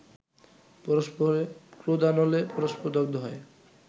পরস্পরের ক্রোধানলে পরস্পর দগ্ধ হয়